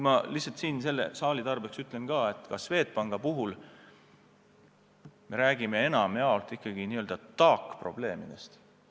Ma lihtsalt sellele saalile teadmiseks ütlen, et ka Swedbanki puhul me räägime enamjaolt ikkagi n-ö taakprobleemidest.